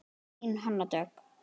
Þín Hanna Dögg.